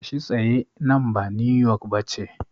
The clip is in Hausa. Tashi tsaye, nan ba New York ba ce.